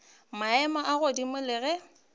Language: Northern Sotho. maemo a godimo le ge